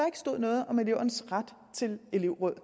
ikke stod noget om elevernes ret til elevråd